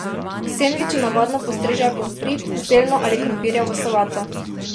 K sendviču navadno postrežejo pomfrit, zeljno ali krompirjevo solato.